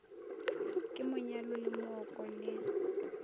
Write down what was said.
ke monyalo le mooko le